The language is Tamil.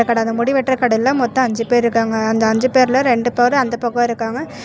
கட அந்த முடிவெட்ற கடையில மொத்த அஞ்சு பேர்ருக்காங்க அந்த அஞ்சு பேர்ல ரெண்டு பேரு அந்த பக்க இருக்காங்க.